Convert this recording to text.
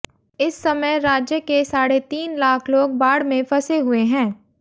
इस समय राज्य के साढे तीन लाख लोग बाढ़ में फंसे हुए हैं